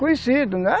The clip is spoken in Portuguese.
Conhecido, né?